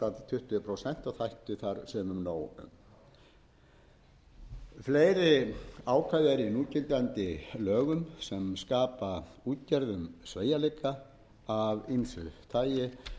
sagt tuttugu prósent og ætti sumum nóg um allir ákvæði eru í núgildandi lögum sem skapa útgerðum sveigjanleika af ýmsu tagi gengið er